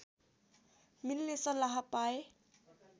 मिल्ने सल्लाह पाए